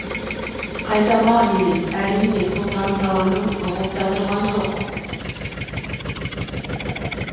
қайтармақ емес әрине сұлтан тауанын ұғып та тұрған жайы бар әке ауанын